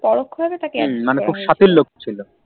হম মানে খুব সাতির লোক ছিল